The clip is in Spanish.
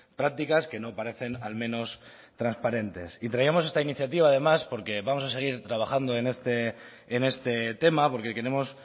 prácticas que no parecen al menos transparentes y traíamos esta iniciativa además porque vamos a seguir trabajando en este tema porque queremos